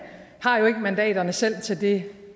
har jo ikke mandaterne selv til det